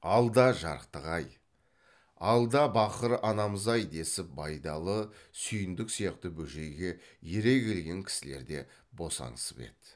алда жарықтық ай алда бақыр анамыз ай десіп байдалы сүйіндік сияқты бөжейге ере келген кісілер де босаңсып еді